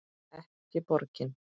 Ekki borgin.